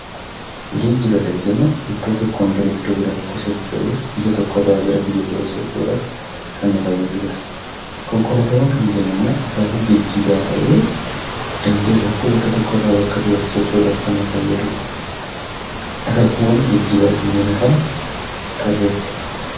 Geejjiba kan jennu iddoo tokkoon gara iddoo biraatti socho'uuf, biyya tokkorraa gara biyya birootti socho'uudhaf kan nu fayyaduudha. Konkolaataawwan kan jennummoo akaakuu geejjibaa ta'ee daandiirratti bakka tokkorraa bakka birootti socho'uudhaaf kan nu fayyadudha. Akaakuuwwan geejjibaa kanneen hafan tarreessi.